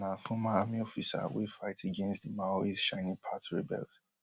humala na former army officer wey fight against di maoist shining path rebels